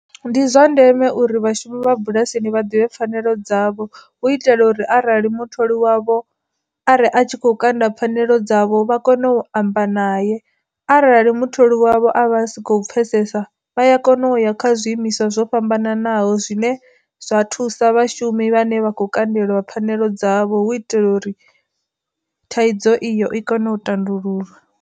Ndi zwa ndeme uri vhashumi vha bulasini vha ḓivhe pfanelo dzavho u itela uri arali mutholi wavho arali a tshi kho kanda pfhanelo dzavho vha kone u amba naye, arali mutholi wavho a vha sa khou pfesesa vha ya kona uya kha zwiimiswa zwo fhambananaho zwine zwa thusa vhashumi vhane vha khou kundelwa pfhanelo dzavho hu itela uri thaidzo iyo i kone u tandululwa.